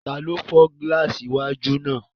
Taló fọ́ gílààsì iwájú náà?